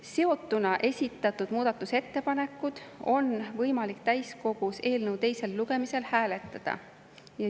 Seotuna esitatud ettepanekuid on võimalik täiskogus eelnõu teisel lugemisel hääletada.